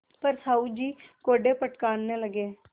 पर साहु जी कोड़े फटकारने लगे